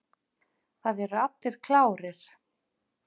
Það eru allir klárir.